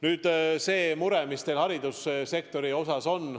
Nüüd see mure, mis on seotud haridussektoriga.